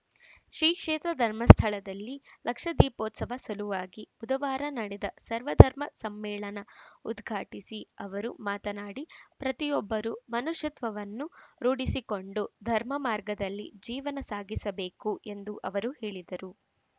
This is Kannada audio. ಶ್ರೀಕ್ಷೇತ್ರ ಧರ್ಮಸ್ಥಳದಲ್ಲಿ ಲಕ್ಷದೀಪೋತ್ಸವ ಸಲುವಾಗಿ ಬುಧವಾರ ನಡೆದ ಸರ್ವಧರ್ಮ ಸಮ್ಮೇಳನ ಉದ್ಘಾಟಿಸಿ ಅವರು ಮಾತನಾಡಿ ಪ್ರತಿಯೊಬ್ಬರೂ ಮನುಷ್ಯತ್ವವನ್ನು ರೂಢಿಸಿಕೊಂಡು ಧರ್ಮ ಮಾರ್ಗದಲ್ಲಿ ಜೀವನ ಸಾಗಿಸಬೇಕು ಎಂದು ಅವರು ಹೇಳಿದರು